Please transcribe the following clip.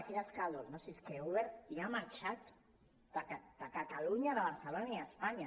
quin escàndol no si és que uber ja ha marxat de catalunya de barcelona i d’espanya